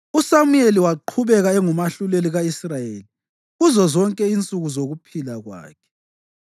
USamuyeli waqhubeka engumahluleli ka-Israyeli kuzozonke insuku zokuphila kwakhe.